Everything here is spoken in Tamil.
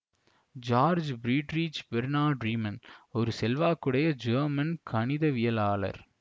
ஜார்ஜ் பிரீட்ரிச் பேர்னாட் ரீமன் ஒரு செல்வாக்குடைய ஜெர்மன் கணிதவியலாளர்